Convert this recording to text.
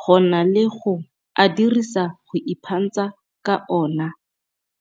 go na le go a dirisa go iphantsha ka ona.